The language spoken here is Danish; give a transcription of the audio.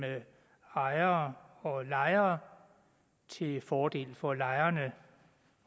ejere og lejere til fordel for lejerne